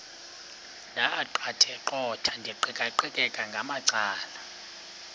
ndaqetheqotha ndiqikaqikeka ngamacala